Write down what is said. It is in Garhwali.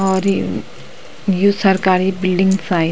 और यू यू सरकारी बिल्डिंग शायद।